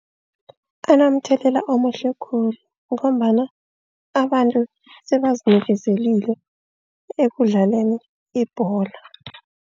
Anomthelela omuhle khulu ngombana abantu sebazinikezelile ekudlaleni ibholo.